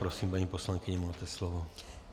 Prosím, paní poslankyně, máte slovo.